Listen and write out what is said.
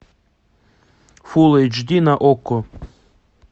фул эйч ди на окко